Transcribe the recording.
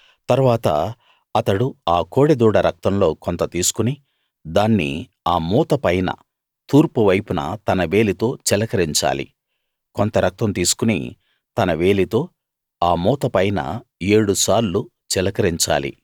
తరువాత అతడు ఆ కోడె దూడ రక్తంలో కొంత తీసుకుని దాన్ని ఆ మూత పైన తూర్పు వైపున తన వేలితో చిలకరించాలి కొంత రక్తం తీసుకుని తన వేలితో ఆ మూత పైన ఏడు సార్లు చిలకరించాలి